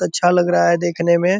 अच्छा लग रहा है देखने में।